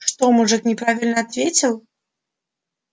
что мужик неправильно ответил